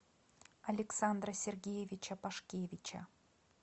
александра сергеевича пашкевича